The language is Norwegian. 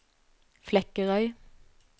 Flekkerøy